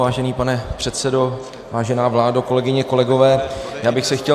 Vážený pane předsedo, vážená vládo, kolegyně, kolegové, já bych se chtěl -